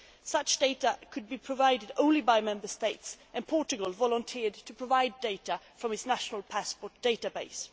Such data could be provided only by Member States and Portugal volunteered to provide data from its national passport database.